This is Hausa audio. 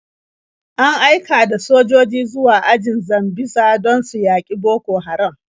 An aika da sojoji zuwa ajin Sambisa don su yaƙi Boko Haram.